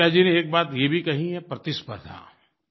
ऋचा जी ने एक बात ये भी कही है प्रतिस्पर्द्धा